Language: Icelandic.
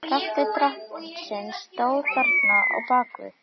Kraftur Drottins stóð þarna á bak við.